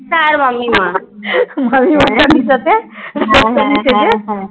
ফুচকা আর মামী মার সাথে রাজস্থানি সেজে